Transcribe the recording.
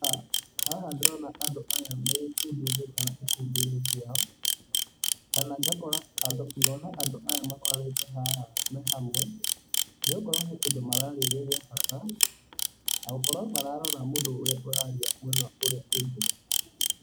Haha ndĩrona andũ aya me ikundi-inĩ kana gĩkundi-inĩ kĩao, kana ngakora andũ, ngona andũ aya makoranĩte haha me hamwe, nĩ gũkorwo he kĩndũ maraarĩria gĩa bata, na gũkorwo mararora mũndũ ũrĩa ũraaria mũno ũrĩa ũngĩ